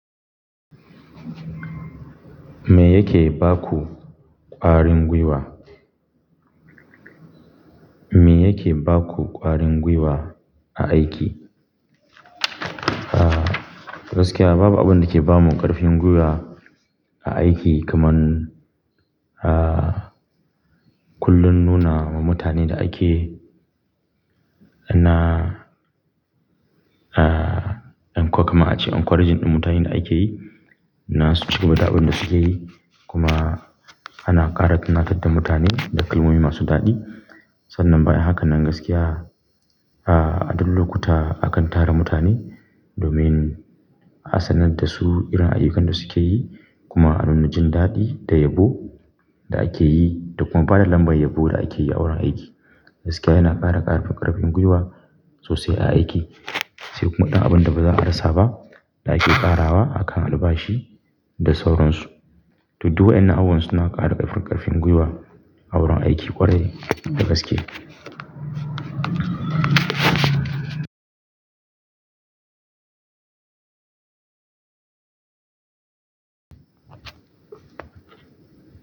Me yake baku ƙwarin gwiwa? Me yake baku ƙwarin gwiwa a aiki? Ah gaskiya babu abin da ke bamu ƙarfin gwiwa a aiki kamar ah kullum nuna wa mutane da ake ana ah encourage kamar a ce encouraging ɗin mutanen da ake yi. Na su ci gaba da abin da suke yi kuma ana ƙara tunatar da mutane da kalmomi masu daɗi. Sannan bayan hakan nan gaskiya ah a duk lokuta akan tara mutane domin a sanar da su irin ayyukan da suke yi kuma a nuna jin daɗi da yabo da ake yi da kuma bada lambar yabo da ake yi a wurin aiki. Gaskiya yana ƙara ƙarfin ƙarfin gwiwa sosai a aiki. Sai kuma ɗan abun da baza a rasa ba da ake ƙarawa akan albashi da sauransu. To duk waƴannan abubuwan suna ƙara ƙarfin, ƙarfin gwiwa a wurin aiki ƙwarai da gaske.